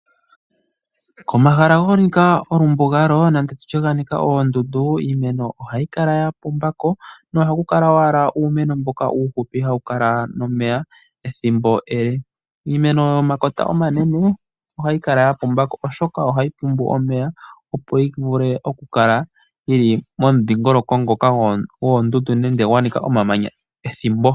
Komahala ga nika embugalo nenge tutye ga nika oondundu iimeno ohayi kala ya pumba ko nohaku kala owala uumeno mboka uuhupi hawu kala nomeya ethimbo ele. Iimeno yomakota omanene ohayi kala ya pumba ko oshoka ohayi pumbwa omeya opo yivule okukala yili momudhingoloko ngoka goondundu nenge gwa nika omamanya ethimbo.